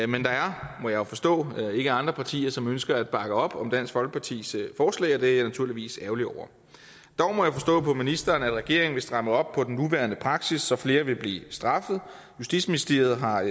men der er må jeg forstå ikke andre partier som ønsker at bakke op om dansk folkepartis forslag og det er jeg naturligvis ærgerlig over dog må jeg forstå på ministeren at regeringen vil stramme op på den nuværende praksis så flere vil blive straffet justitsministeriet har